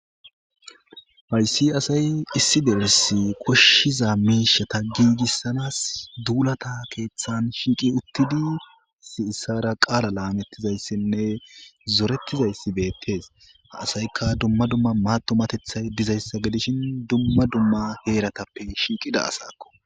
Haysi asay issi derisi koshshiza miishata giigissanas duulata keeththan shinqi uttidisi issara qaala laamettizayssinne zorettizayssi beettees ha asayka dumma dumma matumatethay dizayssa gidishin dumma dumma heeratappe shinqida asakko